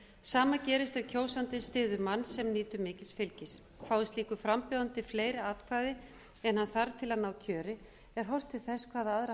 sama gerist ef kjósanda styður mann sem nýtur mikils fylgis fái slíkur frambjóðandi fleiri atkvæði en hann þarf til að ná kjöri er horft til þess hvaða aðra